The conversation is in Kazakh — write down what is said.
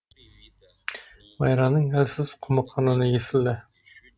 майраның әлсіз құмыққан үні естілді